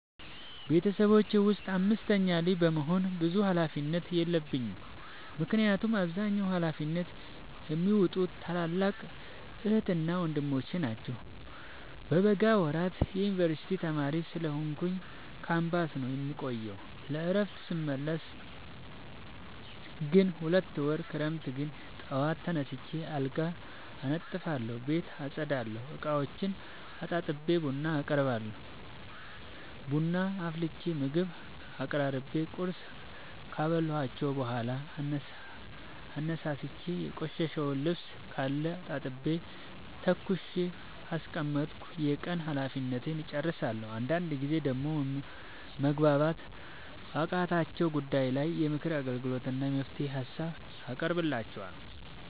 ቤተሰቦቼ ውስጥ አምስተኛ ልጅ በመሆኔ ብዙ ሀላፊነት የለብኝ ምክንያቱን አብዛኛውን ሀላፊነት የሚዎጡት ታላላቅ ዕህትና ወንድሞቼ ናቸው። በበጋ ወራት የዮንበርሲቲ ተማሪ ስለሆንኩኝ ካምፖስ ነው የምቆየው። ለእረፍት ስመለስ ግን ሁለት ወር ክረምት ግን ጠዋት ተነስቼ አልጋ አነጥፋለሁ ቤት አፀዳለሁ፤ እቃዎቹን አጣጥቤ ቡና አቀራርባለሁ ቡና አፍልቼ ምግብ አቀራርቤ ቁርስ ካበላኋቸው በኋላ አነሳስቼ። የቆሸሸ ልብስካለ አጣጥቤ ተኩሼ ካስቀመጥኩ የቀን ሀላፊነቴን እጨርሳለሁ። አንዳንድ ጊዜ ደግሞ መግባባት ባቃታቸው ጉዳይ ላይ የምክር አገልግሎት እና የመፍትሄ ሀሳብ አቀርብላቸዋለሁ።